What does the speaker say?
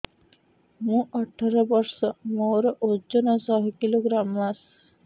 ମୁଁ ଅଠର ବର୍ଷ ମୋର ଓଜନ ଶହ କିଲୋଗ୍ରାମସ